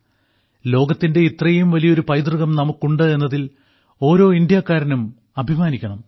ലോകത്തിന്റെ ഇത്രയും വലിയൊരു പൈതൃകം നമുക്കുണ്ട് എന്നതിൽ ഓരോ ഇന്ത്യക്കാരനും അഭിമാനിക്കണം